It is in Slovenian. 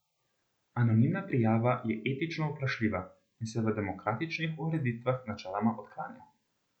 Anonimna prijava je etično vprašljiva in se v demokratičnih ureditvah načeloma odklanja.